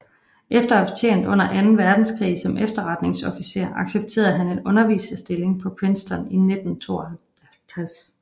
Efter at have tjent under Anden Verdenskrig som efterretningsofficer accepterede han en underviserstilling på Princeton i 1952